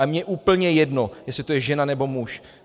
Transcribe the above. A mně je úplně jedno, jestli to je žena, nebo muž.